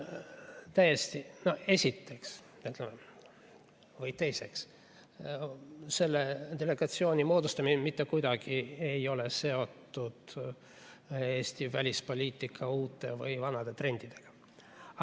Esiteks või ka teiseks, selle delegatsiooni moodustamine ei ole mitte kuidagi seotud Eesti välispoliitika uute või vanade trendidega.